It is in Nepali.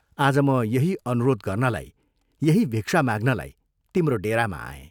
आज म यही अनुरोध गर्नलाई यही भिक्षा माग्नलाई तिम्रो डेरामा आएँ।